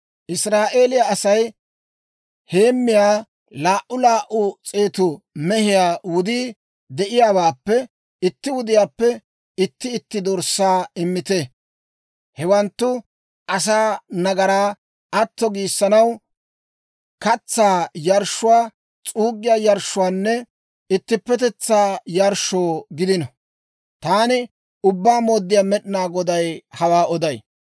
Israa'eeliyaa Asay heemmiyaa laa"u laa"u s'eetu mehiyaa wudii de'iyaawaappe itti wudiyaappe itti itti dorssaa immite. Hewanttu asaa nagaraa atto giissanaw, katsaa yarshshuwaa, s'uuggiyaa yarshshuwaanne ittippetetsaa yarshshoo gidino. Taani Ubbaa Mooddiyaa Med'inaa Goday hawaa oday.